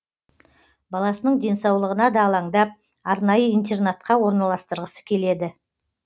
баласының денсаулығына да алаңдап арнайы интернатқа орналастырғысы келеді